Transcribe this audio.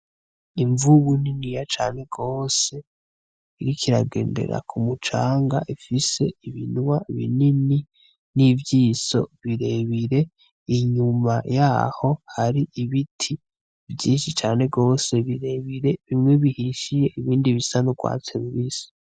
Imvubu niniya cane rwose iriko iragendera ku mucanga ifise ibinwa binini n'ivyiso birebire, inyuma yaho hari ibiti vyinshi cane rwose birebire bimwe bihishiye, ibindi bisa n'urwatsi rubisi.